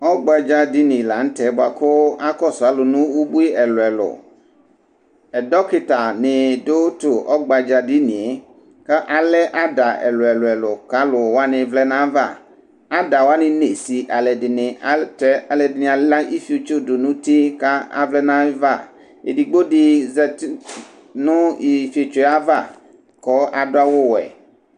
ɔgba dza dini la nu tɛ bua ku, akɔsu alu nu ubʋi ɛlu ɛlu ɛdɔkita ni du tu ɔgba dza dinie, ka alɛ ada ɛlu ɛlu ɛlu ku alu wʋani, ada wʋani nye si alu ɛdini alutɛ alu ɛdini ala ifetso du nu uti ka avlɛ yava , edigbo di zati nu ifetsoe ava ku adu awu wɛ